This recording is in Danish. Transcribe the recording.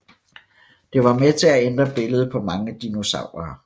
Det var med til at ændre billedet på mange dinosaurer